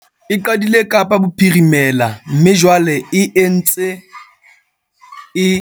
E qadile Kapa Bophirimela mme jwale e ntse e ata Kapa Botjhabela le Gauteng.